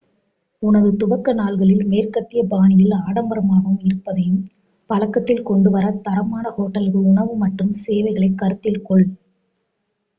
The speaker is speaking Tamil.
உனது துவக்க நாட்களில் மேற்கத்திய பாணியில் ஆடம்பரமாக இருப்பதையும் பழக்கத்தில் கொண்டு வர தரமான ஹோட்டல்கள் உணவு மற்றும் சேவைகளை கருத்தில் கொள்